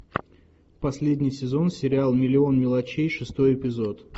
последний сезон сериал миллион мелочей шестой эпизод